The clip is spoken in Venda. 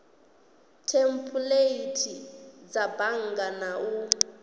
thempuleithi dza bannga na u